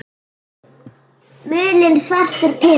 Mulinn svartur pipar